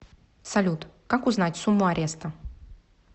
салют как узнать сумму ареста